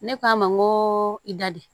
Ne k'a ma n ko i da di